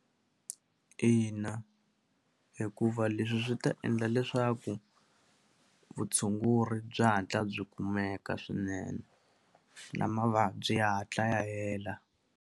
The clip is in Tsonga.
Ina, hikuva leswi swi ta endla leswaku vutshunguri byi hatla byi kumeka swinene na mavabyi ya hatla ya hela.